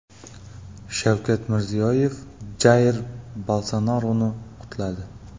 Shavkat Mirziyoyev Jair Bolsonaroni qutladi.